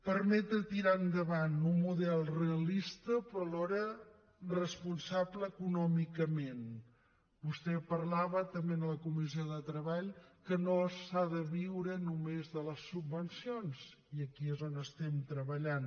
permetre tirar endavant un model realista però alhora responsable econòmicament vostè parlava també en la comissió de treball que no s’ha de viure només de les subvencions i aquí és on estem treballant